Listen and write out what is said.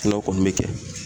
kɔni bɛ kɛ